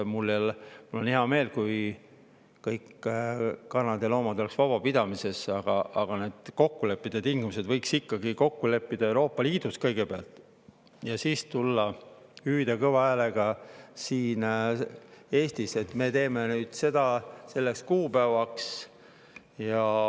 Mul oleks hea meel, kui kõik kanad ja loomad oleks vabapidamisel, aga tingimused võiks ikkagi kokku leppida kõigepealt Euroopa Liidus ja siis tulla hüüdma kõva häälega siin Eestis, et me teeme seda nüüd selleks kuupäevaks.